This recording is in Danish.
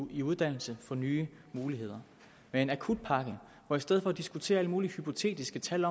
i uddannelse få nye muligheder med en akutpakke og i stedet for at diskutere alle mulige hypotetiske tal